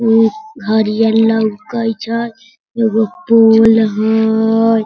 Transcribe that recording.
उ हरियर लउकेत हई एगो पूल हयय।